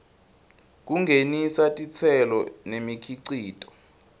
kungenisa titselo nemikhicito